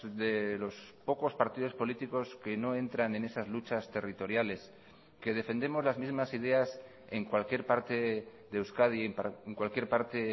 de los pocos partidos políticos que no entran en esas luchas territoriales que defendemos las mismas ideas en cualquier parte de euskadi en cualquier parte